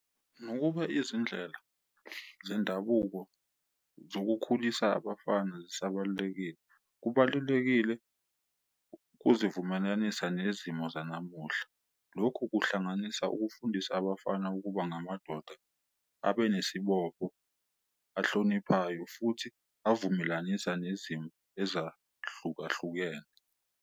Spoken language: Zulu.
Nokuba izindlela zendabuko zokukhulisa abafana zisabalulekile, kubalulekile uzivumelanisa nezimo zanamuhla. Lokhu kuhlanganisa ukufundisa abafana ukuba ngamadoda, abe nesibopho ahloniphayo futhi avumelanisa nezimo ezahlukahlukene.